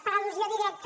per al·lusió directa